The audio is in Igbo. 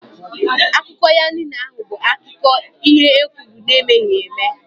Akụkọ ya niile ahụ bụ akiko ihe e kwuru na emeghị eme